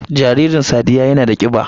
Jaririn sadiyya yana da kiba